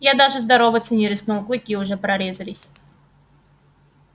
я даже здороваться не рискнул клыки уже прорезались